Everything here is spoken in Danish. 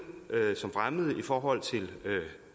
som fremmede i forhold til